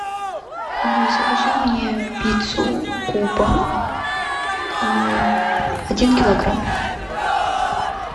закажи мне пиццу куба один килограмм